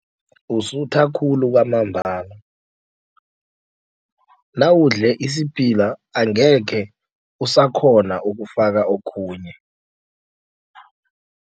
Usutha khulu kwamambala. Nawudle isiphila angekhe usakghona ukufaka okhunye.